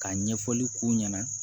Ka ɲɛfɔli k'u ɲɛna